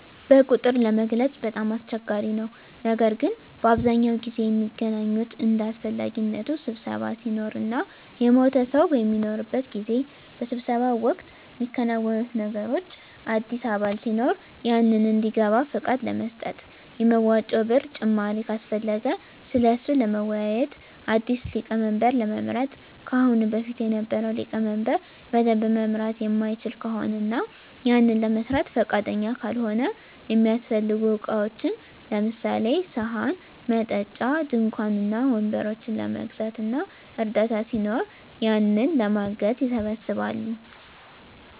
በቁጥር ለመግለፅ በጣም አስቸጋሪ ነው ነገር ግን በአብዛኛው ጊዜ ሚገናኙት እንደ አሰፈላጊነቱ ስብሰባ ሲኖር እና የሞተ ሰው በሚኖርበት ጊዜ። በስብሰባው ወቅት ሚከናወኑት ነገሮች አዲስ አባል ሲኖር ያንን እንዲገባ ፍቃድ ለመስጠት፣ የመዋጮ ብር ጭማሪ ካሰፈለገ ስለሱ ለመወያዬት፣ አዲስ ሊቀመንበር ለመምረጥ ከአሁን በፊት የነበረው ሊቀመንበር በደንብ መምራት ማይችል ከሆነ እና ያንን ለመስራት ፍቃደኛ ካልሆነ፣ እሚያሰፈልጉ እቃዎችን ለምሳሌ፦ ሰሀን፣ መጠጫ፣ ድንኳን እና ወንበሮችን ለመግዛት እና እርዳታ ሲኖር ያንን ለማገዝ ይሰባሰባሉ።